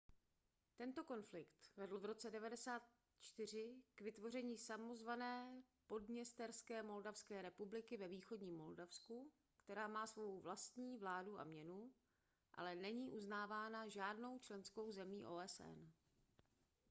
tento konflikt vedl v roce 1994 k vytvoření samozvané podněsterské moldavské republiky ve východním moldavsku která má svou vlastní vládu a měnu ale není uznávána žádnou členskou zemí osn